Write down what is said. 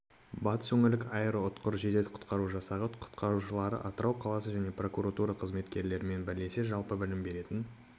батыс өңірлік аэроұтқыр жедел-құтқару жасағы құтқарушылары атырау қаласы және прокуратура қызметкерлерімен бірлесіп жалпы білім беретін